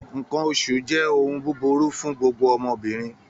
Nǹkan oṣù jẹ́ ohun búburú fún gbogbo ọmọbìnrin